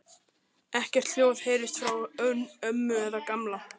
Ekkert hljóð heyrðist frá ömmu eða Gamla.